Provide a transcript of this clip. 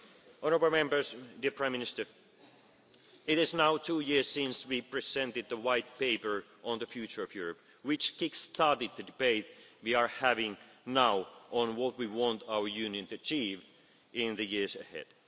people. Honourable Members, dear Prime Minister, it is now two years since we presented the White Paper on the future of Europe, which kick started the debate we are having now on what we want our Union to achieve in the years